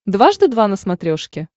дважды два на смотрешке